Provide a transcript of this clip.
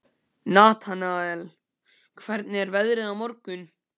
Natanael, hvernig er veðrið á morgun?